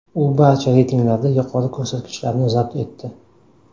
U barcha reytinglarda yuqori ko‘rsatkichlarni zabt etdi.